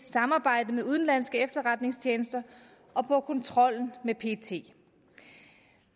samarbejde med udenlandske efterretningstjenester og på kontrollen med pet